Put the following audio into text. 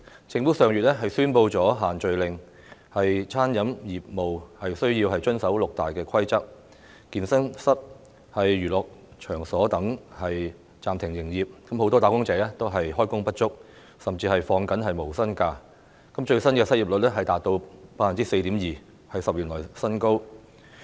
政府上月宣布"限聚令"，餐飲業務需要遵守六大規則，健身室和娛樂場所等暫停營業，很多"打工仔"開工不足，甚至要放取無薪假，最新失業率達到 4.2%， 是10年來新高。